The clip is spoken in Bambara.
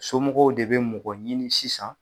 Somɔgɔw de be mɔgɔ ɲini sisan